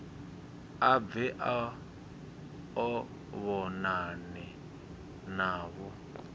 a bve a vhonane navho